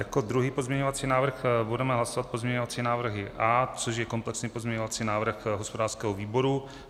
Jako druhý pozměňovací návrh budeme hlasovat pozměňovací návrh A, což je komplexní pozměňovací návrh hospodářského výboru.